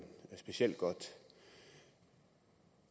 specielt godt